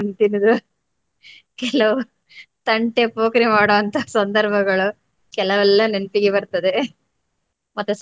ತಿನ್ನುವುದು ಕೆಲವು ತಂಟೆ ಪೋಕರಿ ಮಾಡುವಂತ ಸಂದರ್ಭಗಳು ಕೆಲವೆಲ್ಲ ನೆನಪಿಗೆ ಬರ್ತದೆ .